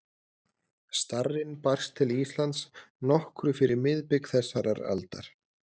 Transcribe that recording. Starrinn barst til Íslands nokkru fyrir miðbik þessarar aldar